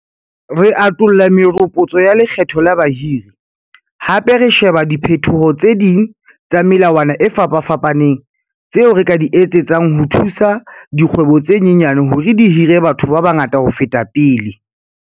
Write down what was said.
Re atolla meropotso ya lekgetho la bahiri, hape re sheba diphetoho tse ding tsa melawana e fapafapaneng tseo re ka di etsetsang ho thusa dikgwebo tse nyenyane hore di hire batho ba bangata ho feta pele.